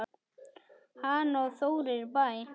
Hanna og Þórir í Bæ.